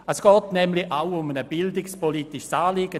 Es geht nämlich auch um ein bildungspolitisches Anliegen.